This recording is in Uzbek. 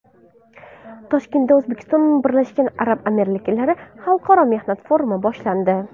Toshkentda O‘zbekiston Birlashgan Arab Amirliklari Xalqaro mehnat forumi boshlandi.